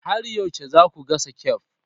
Har yaushe za ku gasa kek?